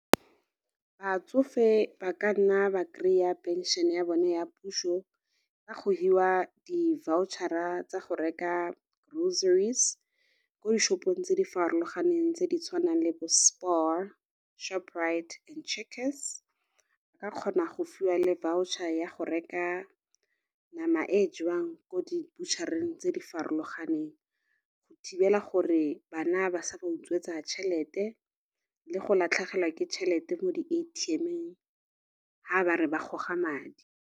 Batsofe ba ka nna ba kry-a pension ya bone ya puso ka go hiwa di-voucher-a tsa go reka groceries ko dishopong tse di farologaneng tse di tshwanang le bo Spar, Shoprite and Checkers, ba kgona go fiwa le voucher ya go reka nama e jewang ko di-butcher-reng tse di farologaneng, go thibela gore bana ba sa ba utswetsa tšhelete le go latlhegelwa ke tšhelete mo di-A_T_M-ong ha ba re ba goga madi.